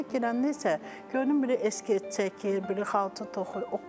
Xalçaya girəndə isə gördüm belə eskiz çəkir, belə xalça toxuyur.